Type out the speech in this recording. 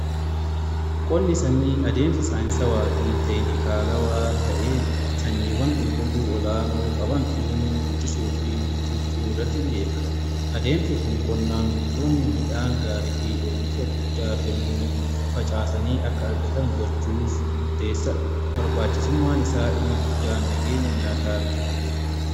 Qonni sanyii adeemsa saayinsawaa fi teekinikaalawaa ta'een sanyiiwwan qulqulluu olaanoo qaban uumuu, guddisuu fi bittinsuu irratti xiyyeeffata. Adeemsi kun qonnaan bultoonni midhaan gaarii fi oomisha guddaa kennuu facaasanii akka argatan gochuuf murteessadha. Barbaachisummaan isaa inni guddaan nageenya nyaataa mirkaneessa.